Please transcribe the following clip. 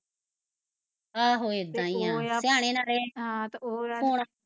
ਆਹੋ ਏਦਾ ਈ ਐ ਸਿਆਣੇ ਨਾ ਰਹੇ